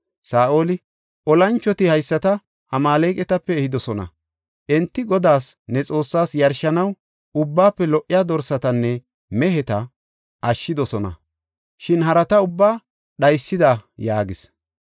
Saa7oli, “Olanchoti haysata Amaaleqatape ehidosona; enti Godaas, ne Xoossaas yarshanaw, ubbaafe lo77iya dorsatanne meheta ashshidosona, shin harata ubbaa dhaysida” yaagis.